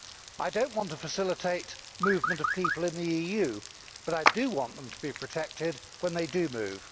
I do not want to facilitate movement of people in the EU, but I do want them to be protected when they do move.